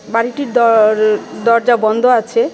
বাড়িটির দয়র-দরজা বন্ধ আছে .